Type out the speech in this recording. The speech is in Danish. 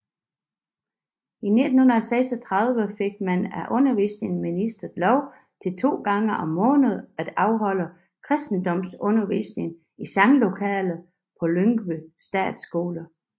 I 1936 fik man af undervisningsministeriet lov til to gange om måneden at afholde kristendomsundervisning i sanglokalet på Lyngby Statsskole